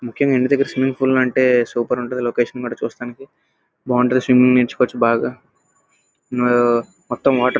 ముఖ్యంగా ఇంటి దెగ్గర స్విమ్మింగ్ పూల్ ఉంటె సూపర్ ఉంటుంది. లొకేషన్ కూడా చూడ్డానికి బాగుంటుంది స్వమ్మింగ్ నేర్చుకుంటే బాగా ఆహ్ మొత్తం వాటర్ --